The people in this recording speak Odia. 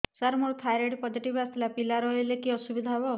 ସାର ମୋର ଥାଇରଏଡ଼ ପୋଜିଟିଭ ଆସିଥିଲା ପିଲା ରହିଲେ କି ଅସୁବିଧା ହେବ